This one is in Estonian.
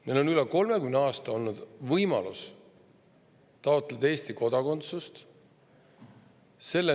Neil on üle 30 aasta olnud võimalus taotleda Eesti kodakondsust.